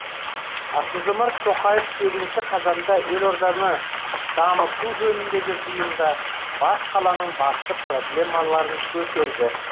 қасым жомарт тоқаев сегізінші қазанда елорданы дамыту жөніндегі жиында бас қаланың басты проблемаларын көтерді